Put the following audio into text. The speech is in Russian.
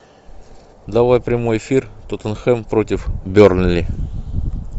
давай прямой эфир тоттенхэм против бернли